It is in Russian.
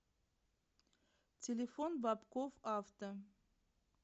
телефон бобков авто